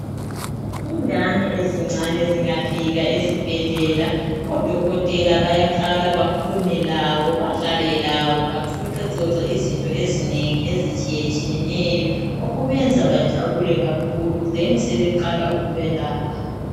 Ingane ezincane zingafika esibhedlela, odokotela bayaqala bakhulume labo, badlale labo baxoxaxoxe izinto ezinengi ezitshiyetshiyeneyo okubenza bajabule kakhulu besebeqala ukubelapha.